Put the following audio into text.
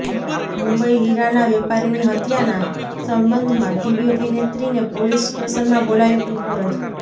મુંબઈઃ હીરાના વેપારીની હત્યાના સંબંધમાં ટીવી અભિનેત્રીને પોલીસ સ્ટેશનમાં બોલાવી પૂછપરછ